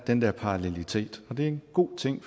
den der parallelitet og det er en god ting